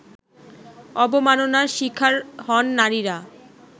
অবমাননার শিকার হন নারীরা